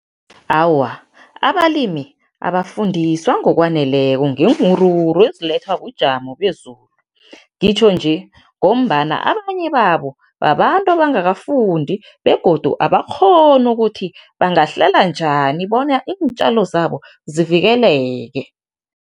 Awa, abalimi abafundiswa ngokwaneleko ngeenwuruwuru ezilethwa bujamo bezulu. Ngitjho nje ngombana abanye babo, babantu abangakafundi begodu abakghoni ukuthi bangahlela njani bona iintjalo zabo zivikeleke.